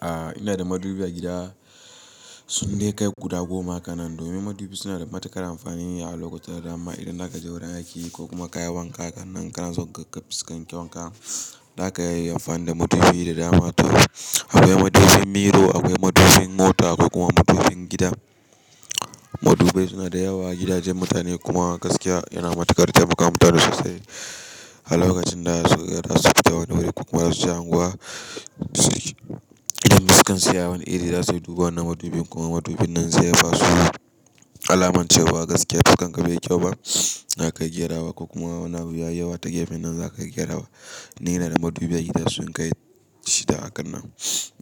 A ina da madubi a gida sun dai kai guda goma ha kannan domin madubi suna da matuƙar amfani a lokaci da dama irin za ka je wurin aiki ko kuma ka yi wanka ha kannan kana son kaga fiskan kyaun ka za ka yi amfani da madubi da dama. Akwai madubin mirror akwai madubin mota akwai kuma madubin gida. Madubai suna da yawa a gidajen mutane kuma gaskiya yana matuƙar taimaka ma mutane sosai. Har lokacin da za su fita wani wuri ko kuma za su je unguwa, idan fiskan su yayi wani iri za su iya duba wannan madubin kuma madubin nan zai iya ba su alamancewa gaskiya fuskan ka bai yi kyau ba za ka iya gerawa ko kuma wani abu ya yi yawa ta gefen nan za ka iya gerawa. Ni ina da madubi a gida sun kai shida ha kannan.